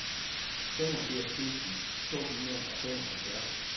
femogfirs tusind to hundrede og femoghalvfjerds